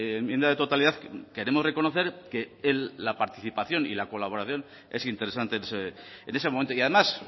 enmienda de totalidad queremos reconocer que la participación y la colaboración es interesante en ese momento y además